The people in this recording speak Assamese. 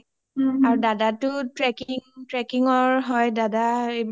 আৰু দাদাটো , trekking ৰ হয় দাদা এইবিলাক tour sour লৈই গৈ থাকে যে